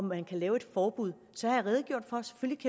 man kan lave et forbud så har jeg redegjort for